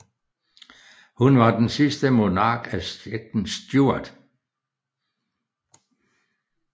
Hun var den sidste monark af Slægten Stuart